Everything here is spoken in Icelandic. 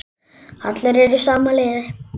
Allir eru í sama liði.